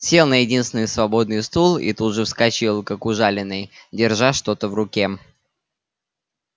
сел на единственный свободный стул и тут же вскочил как ужаленный держа что-то в руке